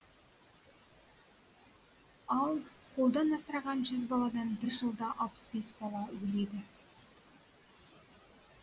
ал қолдан асыраған жүз баладан бір жылда алпыс бес бала өледі